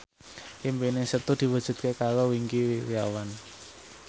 impine Setu diwujudke karo Wingky Wiryawan